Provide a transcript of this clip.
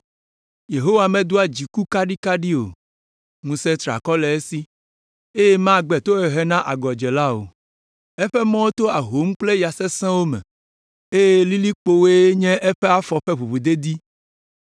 Yehowa medoa dziku kaɖikaɖi o, ŋusẽ triakɔ le esi, eye magbe tohehe na agɔdzela o. Eƒe mɔwo to ahom kple ya sẽsewo me, eye lilikpowoe nye eƒe afɔ ƒe ʋuʋudedi.